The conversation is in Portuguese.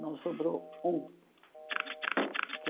Não sobrou um.